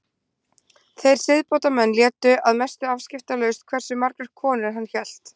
Þeir siðbótarmenn létu að mestu afskiptalaust hversu margar konur hann hélt.